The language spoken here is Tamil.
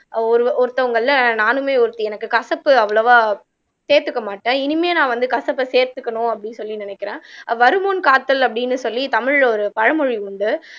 ஒரு ஒருத்தவங்கள்ல நானுமே ஒருத்தி எனக்கு கசப்பு அவ்வளவா சேத்துக்கமாட்டேன் இனிமே நான் வந்து கசப்பை சேர்த்துக்கணும் அப்படின்னு சொல்லி நினைக்கிறேன் வருமுன் காத்தல் அப்படின்னு சொல்லி தமிழ்ல ஒரு பழமொழி உண்டு